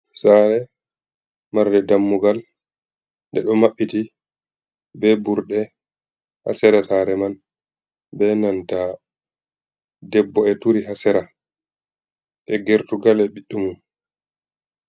Sare, marre dammugal, ɗeɗo maɓɓiti be burɗe ha sera sare man, be nanta debbo e turi ha sera, e gertugal e biɗɗu mum.